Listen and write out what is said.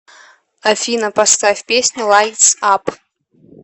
афина поставь песню лайтс ап